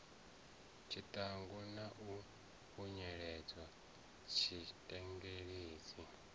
tshiṱangu na u khunyeledza tshitengeledzi